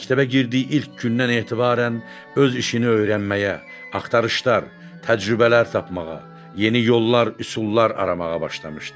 Məktəbə girdiyi ilk gündən etibarən öz işini öyrənməyə, axtarışlar, təcrübələr tapmağa, yeni yollar, üsullar aramağa başlamışdı.